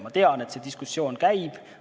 Ma tean, et see diskussioon käib.